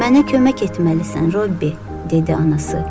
Mənə kömək etməlisən Robbi, dedi anası.